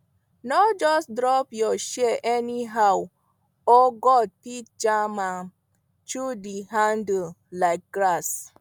no just drop your shears anyhow oh goat fit jam am chew di handle like grass